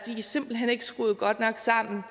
simpelt hen ikke skruet godt nok sammen